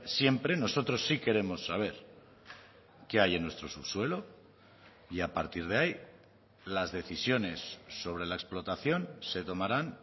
siempre nosotros sí queremos saber qué hay en nuestro subsuelo y a partir de ahí las decisiones sobre la explotación se tomarán